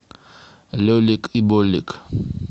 лелик и болик